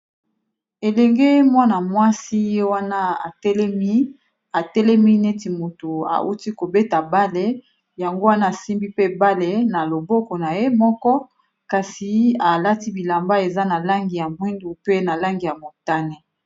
Elenge mwana mwasi wana telemi atelemi neti moto auti kobeta bale yango wana asimbi pe bale na loboko na ye moko kasi alati bilamba eza na langi ya mwindu pe na langi ya motane.